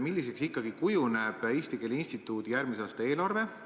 Milliseks ikkagi kujuneb Eesti Keele Instituudi järgmise aasta eelarve?